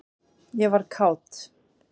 ég var kát.